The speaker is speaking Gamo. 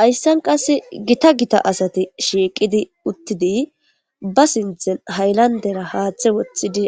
hayssan qass gita gita asati shiiqidi uttidi ba sinthen haylandera haaththe woththidi